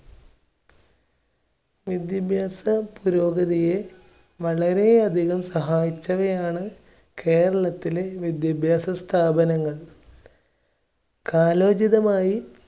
വിദ്യാഭ്യാസ പുരോഗതിയെ വളരെ അധികം സഹായിച്ചവയാണ് കേരളത്തിലെ വിദ്യാഭ്യാസ സ്ഥാപനങ്ങൾ സാമൂഹികമായി